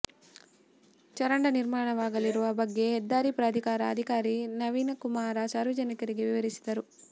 ಚರಂಡ ನಿರ್ಮಾಣವಾಗಲಿರುವ ಬಗ್ಗೆ ಹೆದ್ದಾರಿ ಪ್ರಾಧಿಕಾರ ಅಧಿಕಾರಿ ನವೀನಕುಮಾರ ಸಾರ್ವಜನಿಕರಿಗೆ ವಿವರಿಸಿದರು